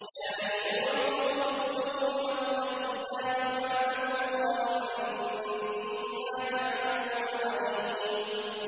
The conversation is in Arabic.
يَا أَيُّهَا الرُّسُلُ كُلُوا مِنَ الطَّيِّبَاتِ وَاعْمَلُوا صَالِحًا ۖ إِنِّي بِمَا تَعْمَلُونَ عَلِيمٌ